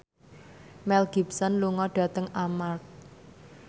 Mel Gibson lunga dhateng Armargh